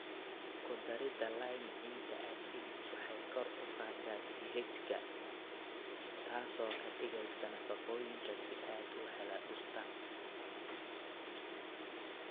Ku darida lime ciidda acidic waxay kor u qaadaa pH-ga, taasoo ka dhigaysa nafaqooyinka si aad u hela dhirta.